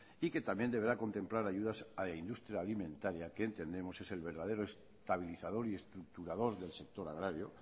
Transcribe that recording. y que también deberá contemplar ayudas a la industria alimentaria que entendemos es el verdadero estabilizador y estructurador del sector agrario